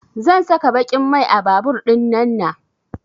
Zan saka baƙin mai a babur ɗinnana